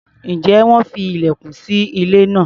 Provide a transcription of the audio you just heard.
Ǹjẹ́ wọ́n fi ilẹ̀kùn sí ilé náà?